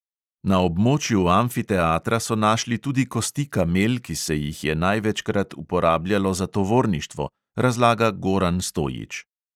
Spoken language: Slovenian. Na območju amfiteatra so našli tudi kosti kamel, ki se jih je največkrat uporabljalo za tovorništvo, razlaga goran stojić.